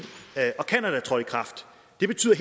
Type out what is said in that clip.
det betyder